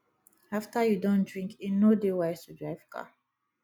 after you don drink e no dey wise to drive car